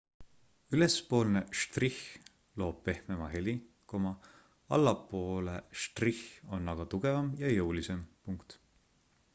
ülespoole štrihh loob pehmema heli allapoole štrihh on aga tugevam ja jõulisem